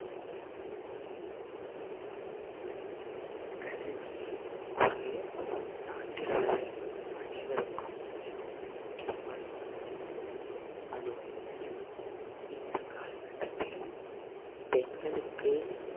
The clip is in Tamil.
கல்வி ஒரு நாட்டில் உள்ள அனைவருக்கும் மிகவும் முக்கியமானதாகும் அதுவும் இப்~ இந்த காலகட்டத்தில் பெண்களுக்கு